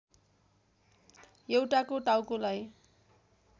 एउटाको टाउकोलाई